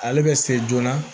Ale bɛ se joona